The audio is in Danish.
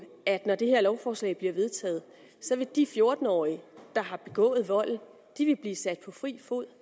at når det her lovforslag bliver vedtaget vil de fjorten årige der har begået volden blive sat på fri fod